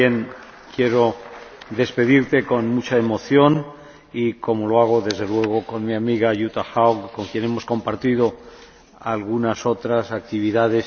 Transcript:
Yo también quiero despedirte con mucha emoción, como lo hago desde luego con mi amiga Jutta Haug, con quien hemos compartido algunas otras actividades.